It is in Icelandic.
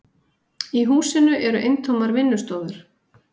Í húsinu eru eintómar vinnustofur.